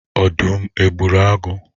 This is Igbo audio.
Ọdụm o gburu agụ?